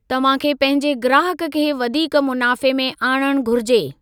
तव्हां खे पंहिंजे ग्राहक खे वधीक मुनाफ़े में आणणु घुरिजे।